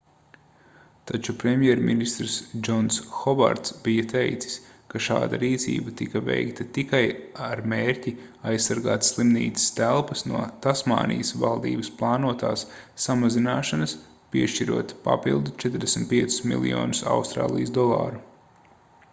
taču premjerministrs džons hovards bija teicis ka šāda rīcība tika veikta tikai ar mērķi aizsargāt slimnīcas telpas no tasmānijas valdības plānotās samazināšanas piešķirot papildu 45 miljonus austrālijas dolāru